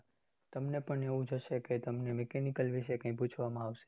તમને પણ એવું જ હસે કે તમને mechanical વિશે કઈ પૂછવામાં આવશે